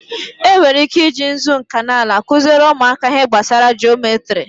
E nwere ike i ji nzu nkanala kụziere ụmụaka ihe gbasara jometri.